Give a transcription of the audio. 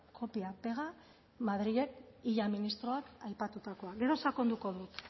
kopia pega madrilen illa ministroak aipatutakoa gero sakonduko dut